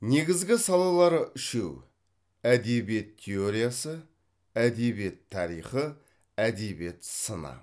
негізгі салалары үшеу әдебиет теориясы әдебиет тарихы әдебиет сыны